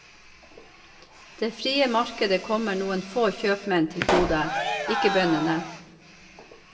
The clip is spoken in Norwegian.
Det frie markedet kommer noen få kjøpmenn til gode, ikke bøndene.